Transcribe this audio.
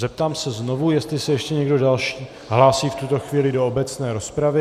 Zeptám se znovu, jestli se ještě někdo další hlásí v tuto chvíli do obecné rozpravy.